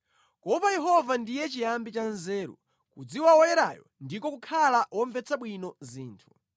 Kuopa Yehova ndiye chiyambi cha nzeru; kudziwa Woyerayo ndiko kukhala womvetsa bwino zinthu.